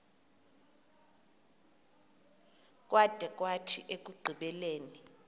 kwada kwathi ekugqibeleni